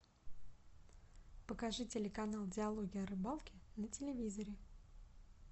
покажи телеканал диалоги о рыбалке на телевизоре